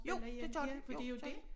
Jo det gør de jo det gør de